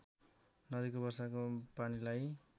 नदीको वर्षाको पानीलाई